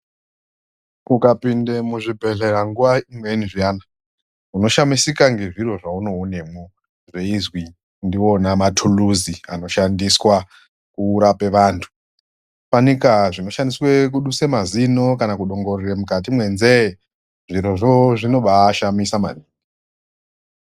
Ukapinde muzvibhedhlera nguva imweni zviyani unoshamisika nezviro zvaunoonamwo weizwi ndiwona matuluzi anohandiswa kurape vantu fanike zvinoshandiswa kuduse mazino kana kudongorere mukati menzee zvirozvo zvonobaashamisa maningi.